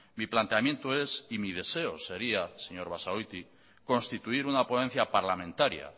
mi planteamiento es y mi deseo sería señor basagoiti constituir una ponencia parlamentaria